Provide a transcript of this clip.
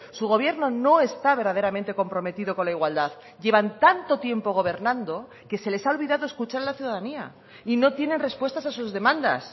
su gobierno no está verdaderamente comprometido con la igualdad llevan tanto tiempo gobernando que se les ha olvidado escuchar a la ciudadanía y no tienen respuestas a sus demandas